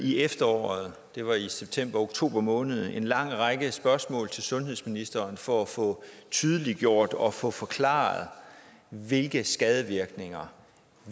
i efteråret og det var i septemberoktober måned en lang række spørgsmål til sundhedsministeren for at få tydeliggjort og få forklaret hvilke skadevirkninger